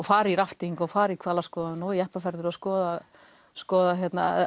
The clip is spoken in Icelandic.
fara í rafting og fara í hvalaskoðun og jeppaferðir og skoða skoða